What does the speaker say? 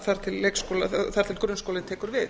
þar til grunnskólinn tekur við